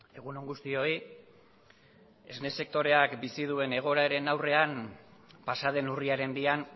egun on guztioi esne sektoreak bizi duen egoeraren aurrean pasaden urriaren bian